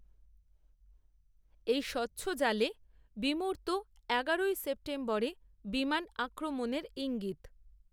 এই স্বচ্ছ জালে, বিমূর্ত, এগারোই সেপ্টেম্বরে বিমান, আক্রমণের ইঙ্গিত